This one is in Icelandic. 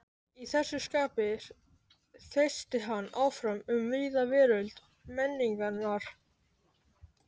Í þessu skapi þeysti hann áfram um víða veröld menningarinnar.